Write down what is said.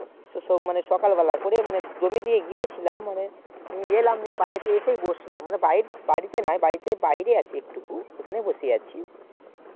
তো মানে সকালবেলায় করে জমি দিয়ে গিয়েছিলাম এলাম নিয়ে বাড়িতে এসে বসলাম মানে বাড়িতে নেই বাড়ির বাহিরে আছি একটু পাশেই বসে আছি